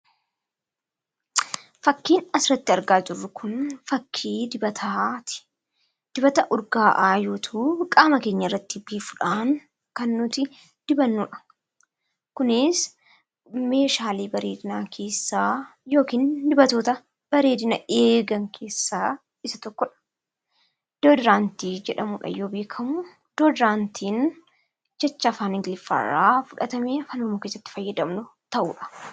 Fakkiin asirratti argaa jirru kun fakkii dibataati. Dibata urgaa'aa yoo ta'u, qaama keenya irratti biifuudhaan kan nuti dibannudha. Kunis meeshaalee bareedinaa keessaa yookiin dibatoota bareedina eegan keessaa isa tokkodha. Doodiraantii jedhamuudhaan yoo beekamu, Doodiraantiin jecha afaan Ingiliffaarraa fudhatamee afaan Oromoo keessatti fayyadamnu ta'udha.